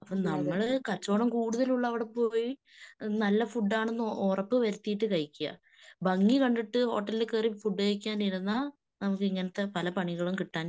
അപ്പൊ നമ്മള് കച്ചവടം കൂടുതൽ ഉള്ളവിടെ പോയി നല്ല ഫുഡാണെന്ന് ഉറപ്പുവരുത്തിയിട്ടു കഴിക്കിയ. ഭംഗി കണ്ടിട്ട് ഹോട്ടലിൽ കേറി ഫുഡ് കഴിക്കാൻ ഇരുന്നാ നമുക്ക് ഇങ്ങനത്തെ പല പണികളും കിട്ടാൻ